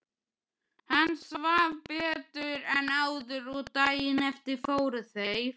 Hann svaf betur en áður og daginn eftir fóru þeir